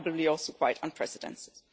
That is probably also quite unprecedented.